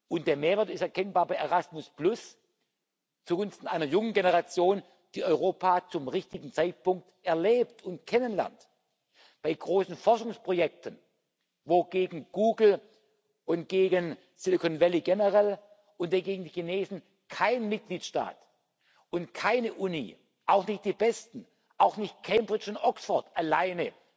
Und der Mehrwert ist erkennbar bei Erasmus, zugunsten einer jungen Generation, die Europa zum richtigen Zeitpunkt erlebt und kennenlernt, bei großen Forschungsprojekten, wo gegen Google und gegen Silicon Valley generell und gegen die Chinesen kein Mitgliedstaat und keine Uni, auch nicht die besten, auch nicht Cambridge und Oxford, alleine